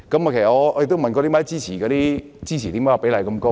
我亦問過他們為何支持的比例這麼高？